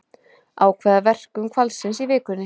Ákveða verkun hvalsins í vikunni